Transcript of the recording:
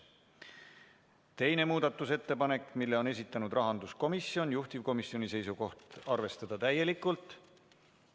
Teine muudatusettepanek, mille on esitanud rahanduskomisjon, juhtivkomisjoni seisukoht on arvestada täielikult.